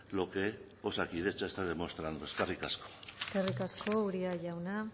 lo que osakidetza está demostrando eskerrik asko eskerrik asko uria jauna